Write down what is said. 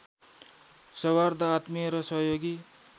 सौहार्द्र आत्मीय र सहयोगी